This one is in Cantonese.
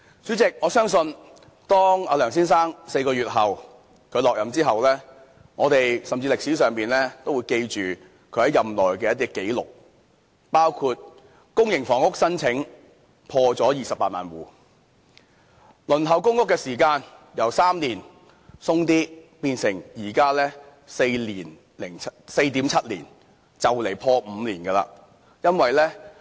主席，我相信當梁先生在4個月後離任後，歷史都會記住他在任內的一些紀錄，包括公營房屋申請破了28萬戶；輪候公屋的時間由3年多變成現時的 4.7 年，快將破5年了。